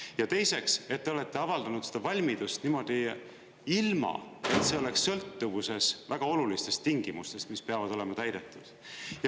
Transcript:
Ja teiseks, et te olete avaldanud seda valmidust niimoodi, ilma et see oleks sõltuvuses väga olulistest tingimustest, mis peavad olema täidetud.